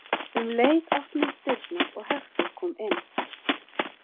Um leið opnuðust dyrnar og Hektor kom inn.